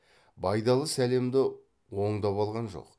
байдалы сәлемді оңдап алған жоқ